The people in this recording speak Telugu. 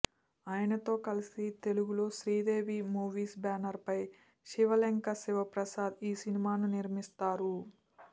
ఆయనతో కలిసి తెలుగులో శ్రీదేవీ మూవీస్ బ్యానర్ పై శివలెంక శివప్రసాద్ ఈ సినిమాను నిర్మిస్తారు